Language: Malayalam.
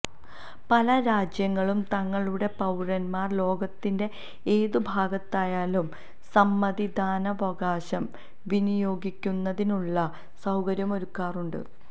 പല രാജ്യങ്ങളും തങ്ങളുടെ പൌരന്മാര് ലോകത്തിന്റെ ഏത് ഭാഗത്തായാലും സമ്മതി ദാനാവകാശം വിനിയോഗിക്കുന്നതിനുള്ള സൌകര്യമൊരുക്കാറുണ്ട്